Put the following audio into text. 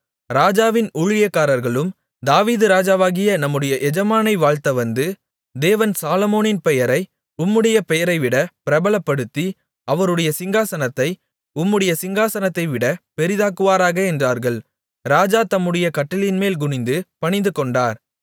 ராஜாவின் ஊழியக்காரர்களும் தாவீது ராஜாவாகிய நம்முடைய எஜமானனை வாழ்த்த வந்து தேவன் சாலொமோனின் பெயரை உம்முடைய பெயரைவிட பிரபலப்படுத்தி அவருடைய சிங்காசனத்தை உம்முடைய சிங்காசனத்தைவிட பெரிதாக்குவாராக என்றார்கள் ராஜா தம்முடைய கட்டிலின்மேல் குனிந்து பணிந்துகொண்டார்